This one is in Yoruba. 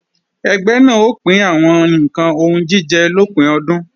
Ẹgbẹ́ náà ó pín àwọn ǹkan oúnjíjẹ lópin ọdún